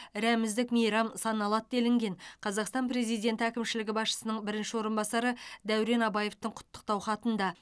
рәміздік мейрам саналады делінген қазақстан президенті әкімшілігі басшысының бірінші орынбасары дәурен абаевтың құттықтау хатында